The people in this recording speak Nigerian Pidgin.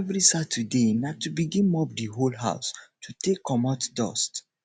evri saturday na to begin mop di whole house to take comot dust